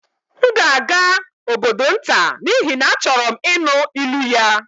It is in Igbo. M ga-aga obodo nta n'ihi na achọrọ m ịnụ ilu ya